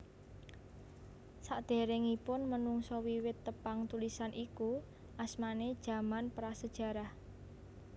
Sakderengipun menungsa wiwit tepang tulisan iku asmane jaman Prasejarah